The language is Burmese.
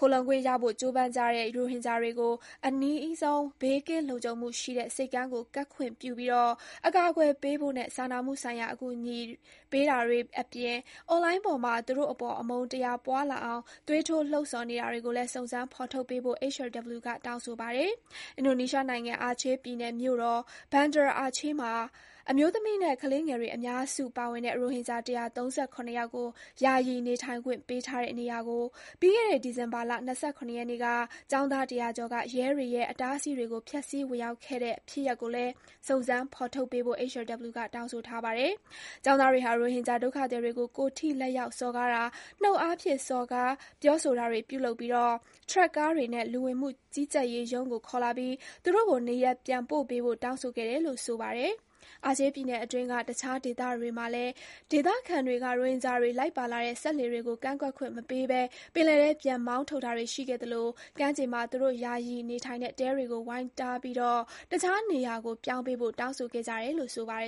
ခိုလှုံခွင့်ရဖို့ ကြိုးပမ်းကြတဲ့ ရိုဟင်ဂျာတွေကို အနီးဆုံး ဘေးကင်းလုံခြုံမှုရှိတဲ့ ဆိပ်ကမ်းကို ကပ်ခွင့်ပြုပြီး အကာအကွယ်ပေးဖို့နဲ့ စာနာမှုဆိုင်ရာ အကူအညီပေးတာတွေအပြင် အွန်လိုင်းပေါ်မှာ သူတို့အပေါ် အမုန်းတရားပွားလာအောင် သွေးထိုး လှုံ့ဆော်နေတာတွေကိုလည်း စုံစမ်း ဖော်ထုတ်ပေးဖို့ HRW က တောင်းဆိုပါတယ်။ အင်ဒိုနီးရှားနိုင်ငံ၊ အာချေးပြည်နယ်မြို့တော် Banda Aceh မှာ အမျိုးသမီးနဲ့ ကလေးငယ်တွေ အများစုပါဝင်တဲ့ ရိုဟင်ဂျာ ၁၃၇ ယောက်ကို ယာယီ နေထိုင်ခွင့်ပေးထားတဲ့နေရာကို ပြီးခဲ့တဲ့ ဒီဇင်ဘာလ ၂၇ ရက်နေ့က ကျောင်းသား ၁၀၀ ကျော်က ရဲတွေရဲ့ အတားအဆီးတွေကို ဖျက်ဆီး ဝင်ရောက်ခဲ့တဲ့ ဖြစ်ရပ်ကိုလည်း စုံစမ်း ဖော်ထုတ်ပေးဖို့ HRW က တောင်းဆိုထားပါတယ်။ ကျောင်းသားတွေက ရိုဟင်ဂျာ ဒုက္ခသည်တွေကို ကိုယ်ထိလက်ရောက် စော်ကားတာ၊ နှုတ်အားဖြင့်စော်ကား ပြောဆိုတာတွေ ပြုလုပ်ပြီး ထရပ်ကားတွေနဲ့ လူဝင်မှုကြီးကြပ်ရေးရုံးကို ခေါ်လာပြီး သူတို့ကို နေရပ်ပြန်ပို့ပေးဖို့ တောင်းဆိုခဲ့တယ်လို့ ဆိုပါတယ်။ အာချေးပြည်နယ်အတွင်းက တခြားဒေသတွေမှာလည်း ဒေသခံတွေက ရိုဟင်ဂျာတွေ လိုက်ပါလာတဲ့ စက်လှေတွေကို ကမ်းကပ်ခွင့်မပေးဘဲ ပင်လယ်ထဲ ပြန်မောင်းထုတ်တာတွေ ရှိခဲ့သလို ကမ်းခြေမှာ သူတို့ ယာယီနေထိုင်တဲ့ တဲတွေကို ဝိုင်းထားပြီး တခြားနေရာကို ပြောင်းပေးဖို့ တောင်းဆိုခဲ့ကြတယ်လို့ ဆိုပါတ